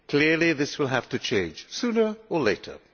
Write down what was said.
Clearly this will have to change, sooner or later.